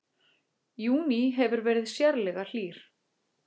Júní hefur verið sérlega hlýr